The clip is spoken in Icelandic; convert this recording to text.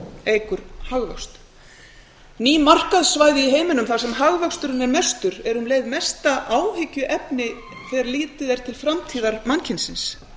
eykur hagvöxt nú markaðssvæði í heiminum þar sem hagvöxturinn er mestur er um leið mesta áhyggjuefni þegar litið er til framtíðar mannkynsins